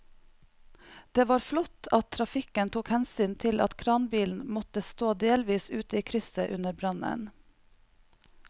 Det var flott at trafikken tok hensyn til at kranbilen måtte stå delvis ute i krysset under brannen.